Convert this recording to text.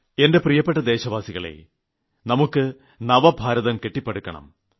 എന്റെ പ്രിയപ്പെട്ട ദേശവാസികളേ നമുക്ക് നവഭാരതം കെട്ടിപ്പടുക്കണം